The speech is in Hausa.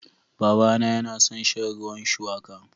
Babana yana son shan ruwan shuwaka.